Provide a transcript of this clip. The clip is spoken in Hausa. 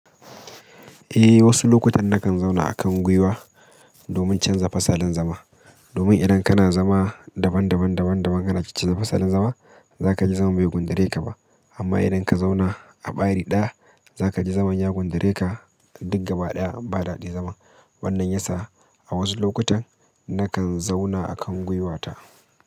Eh, wasu lokutan nakan zauna a kan gwiwa domin canza fasalin zama. Domin idan kana zama daban-daban, daban-daban, kana kicce fasalin zama, za ka ji zaman bai gundare ka ba. Amma idan ka zauna, a ɓari ɗaya, za ka ji zaman ya gundare ka, duk gaba ɗaya, ba daɗaɗɗin zama. Wannan ya sa a wasu lokutan nakan zauna a kan gwiwata.